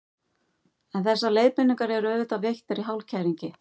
En þessar leiðbeiningar eru auðvitað veittar í hálfkæringi.